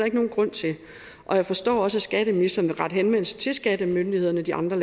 ikke nogen grund til og jeg forstår også at skatteministeren vil rette henvendelse til skattemyndighederne i de andre